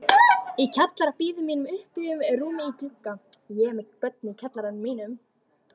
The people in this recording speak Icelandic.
Í kjallara bíður mín uppbúið rúm í glugga